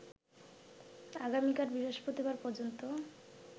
আগামীকাল বৃহস্পতিবার পর্যন্ত